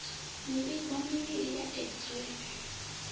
mivhigo mivhili ya x ray